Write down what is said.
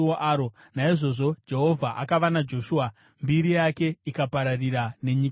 Naizvozvo Jehovha akava naJoshua, mbiri yake ikapararira nenyika yose.